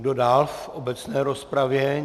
Kdo dál v obecné rozpravě?